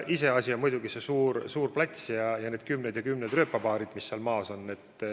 Iseasi on muidugi see suur plats ja need kümned ja kümned rööpapaarid, mis seal maas on.